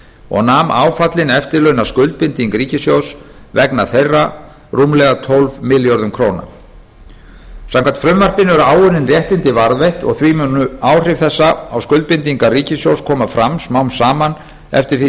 og nam áfallin eftirlaunaskuldbinding ríkissjóðs vegna þeirra rúmlega tólf milljörðum króna samkvæmt frumvarpinu eru áunnin réttindi varðveitt og því munu áhrif þess á skuldbindingar ríkissjóðs koma fram smám saman eftir því